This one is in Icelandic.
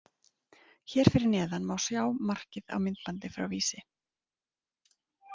Hér fyrir neðan má sjá markið á myndbandi frá Vísi.